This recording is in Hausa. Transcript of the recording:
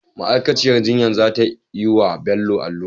ma'akaciyar jinya zatayi wa Bello allura